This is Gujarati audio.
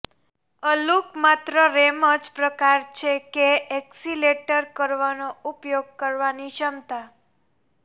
અ લૂક માત્ર રેમ જ પ્રકાર છે કે એક્સિલરેટર કરવાનો ઉપયોગ કરવાની ક્ષમતા